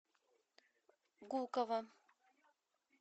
гуково